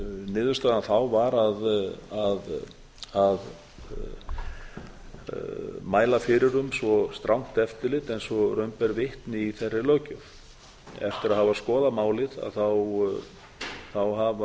niðurstaðan þá var að mæla fyrir um svo strangt eftirlit eins og raun ber vitni í þeirri löggjöf eftir að hafa skoðað málið hafa þessir háttvirtu þingmenn